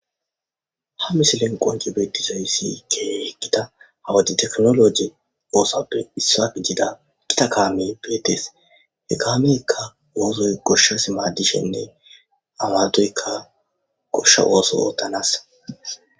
Ha misilen qon,ci betizayisi kehi githa ha wode tekinologe osuwappe isuwa gidiza githa kame betees he kameka osoyi goshas madishinne amadoyika gosha oso otanasa